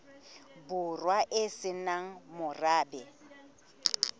borwa e se nang morabe